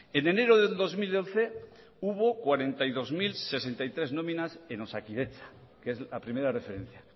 en enero de dos mil once hubo cuarenta y dos mil sesenta y tres nóminas en osakidetza que es la primera referencia